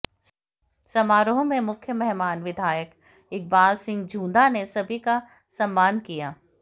समारोह में मुख्य मेहमान विधायक इकबाल सिंह झूंदा ने सभी का सम्मान किया